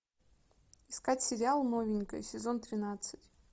искать сериал новенькая сезон тринадцать